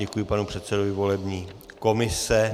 Děkuji panu předsedovi volební komise.